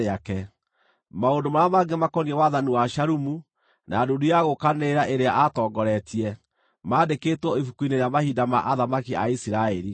Maũndũ marĩa mangĩ makoniĩ wathani wa Shalumu, na ndundu ya gũũkanĩrĩra ĩrĩa aatongoretie, mandĩkĩtwo ibuku-inĩ rĩa mahinda ma athamaki a Isiraeli.